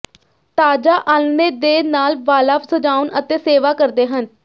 ਤਾਜ਼ਾ ਆਲ੍ਹਣੇ ਦੇ ਨਾਲ ਵਾਲਾ ਸਜਾਉਣ ਅਤੇ ਸੇਵਾ ਕਰਦੇ ਹਨ